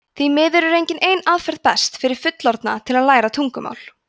því miður er engin ein aðferð best fyrir fullorðna til að læra tungumál